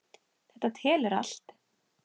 Þetta telur allt.